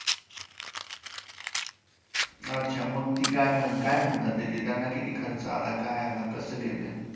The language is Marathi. अच्छा, मग ती काय काय म्हणतायत ते त्यांना किती खर्च आला? काय आलं? कसं गेलं?